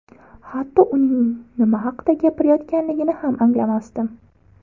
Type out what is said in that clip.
Hatto uning nima haqida gapirayotganligini ham anglamasdim.